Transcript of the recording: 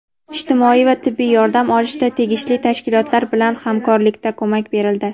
ijtimoiy va tibbiy yordam olishda tegishli tashkilotlar bilan hamkorlikda ko‘mak berildi.